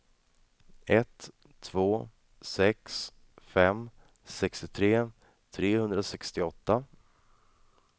ett två sex fem sextiotre trehundrasextioåtta